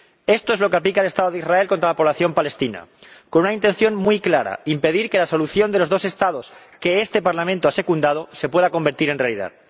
Esto es lo que aplica el Estado de Israel contra la población palestina, con una intención muy clara impedir que la solución de los dos Estados, que este Parlamento ha secundado, se pueda convertir en realidad.